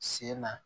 Sen na